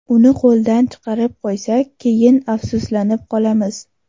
Uni qo‘ldan chiqarib qo‘ysak, keyin afsuslanib qolamiz.